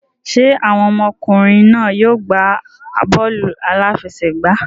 Ṣé àwọn ọmọkùnrin náà yóò gbá bọ́ọ̀lù aláfẹsẹ̀gbá?